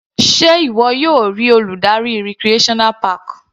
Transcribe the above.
Sé ìwọ yóò rí Olùdarí recreational park?